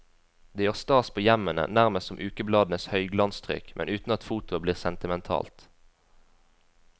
Det gjør stas på hjemmene, nærmest som ukebladenes høyglanstrykk, men uten at fotoet blir sentimentalt.